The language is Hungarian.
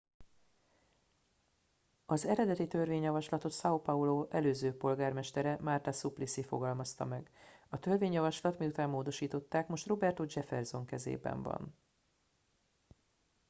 az eredeti törvényjavaslatot são paulo előző polgármestere marta suplicy fogalmazta meg. a törvényjavaslat - miután módosították - most roberto jefferson kezében van